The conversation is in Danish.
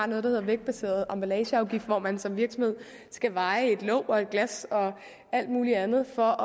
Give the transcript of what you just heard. der hedder vægtbaseret emballageafgift hvor man som virksomhed skal veje et låg og et glas og alt mulig andet for